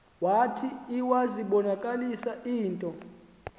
zwathi iwazibonakalisa into